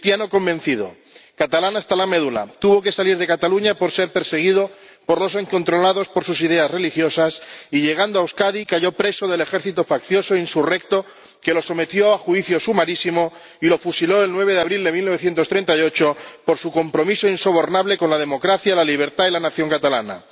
Cristiano convencido, catalán hasta la médula, tuvo que salir de Cataluña por ser perseguido por los incontrolados por sus ideas religiosas y, llegando a Euskadi, cayó preso del ejército faccioso insurrecto, que lo sometió a juicio sumarísimo y lo fusiló el 9 de abril de 1938 por su compromiso insobornable con la democracia, la libertad y la nación catalana.